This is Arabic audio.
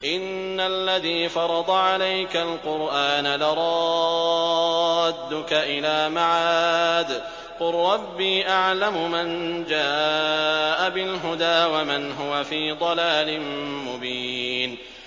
إِنَّ الَّذِي فَرَضَ عَلَيْكَ الْقُرْآنَ لَرَادُّكَ إِلَىٰ مَعَادٍ ۚ قُل رَّبِّي أَعْلَمُ مَن جَاءَ بِالْهُدَىٰ وَمَنْ هُوَ فِي ضَلَالٍ مُّبِينٍ